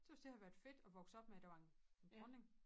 Tøs det har været fedt at vokse op med at der var en dronning